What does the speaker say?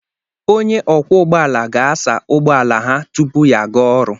Onye ọkwọ ụgbọ ala ga-asa ụgbọ ala ha tupu ya aga ọrụ